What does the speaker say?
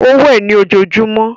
Ó wẹ̀ ní ojojúmọ́.